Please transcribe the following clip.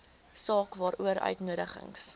saak waaroor uitnodigings